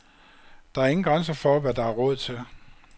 Der er ingen grænser for, hvad der er råd til.